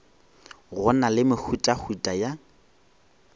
go na le mehutahuta ya